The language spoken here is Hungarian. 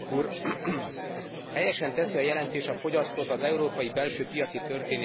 Helyesen teszi a jelentés a fogyasztót az európai belső piaci történések középpontjába.